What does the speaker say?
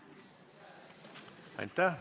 Aitäh!